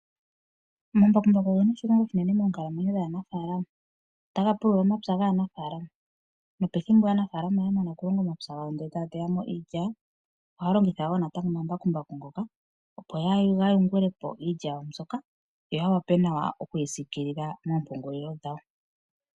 Omambakumbaku ongena oshilonga oshinene monkalamwenyo dhanafalama, otanga pulula omapya nganafalama, nopethimbo aanafalama yamana okulonga omapya ngawo nde taya teyamo iilya, ohalongitha wo natango omambakumbaku ngoka opo gayungulepo iilya yawo mbyoka yo oya wape nawa okwisikilila mompungulilo dhawo.